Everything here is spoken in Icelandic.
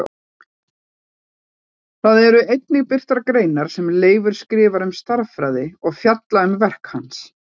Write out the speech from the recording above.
Þar eru einnig birtar greinar sem Leifur skrifaði um stærðfræði og fjallað um verk hans.